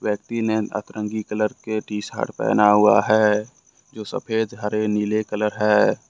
व्यक्ति ने अतरंगी कलर के टीशर्ट पहना हुआ हैं जो सफेद हरे नीले कलर हैं।